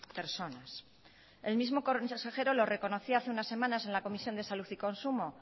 personas el mismo consejero lo reconocía hace unas semanas en la comisión de salud y consumo